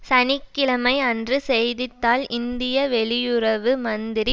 சனி கிழமை அன்று செய்தி தாள் இந்திய வெளியுறவு மந்திரி